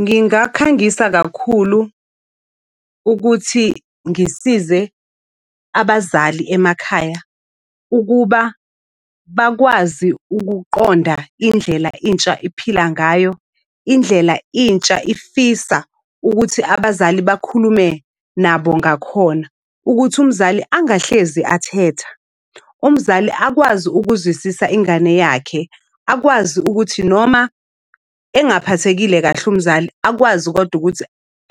Ngingakhangisa kakhulu ukuthi ngisize abazali emakhaya ukuba bakwazi ukuqonda indlela intsha iphila ngayo. Indlela intsha ifisa ukuthi abazali bakhulume nabo ngakhona. Ukuthi umzali angahlezi athethe, umzali akwazi ukuzwisisa ingane yakhe, akwazi ukuthi noma engaphathekile kahle umzali akwazi kodwa ukuthi